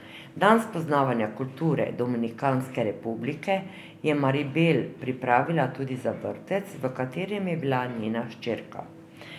Dan spoznavanja kulture Dominikanske republike je Maribel pripravila tudi za vrtec, v katerem je bila njena hčerka.